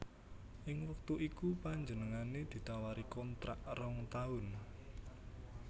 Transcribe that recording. Ing wektu iku panjenengané ditawari kontrak rong taun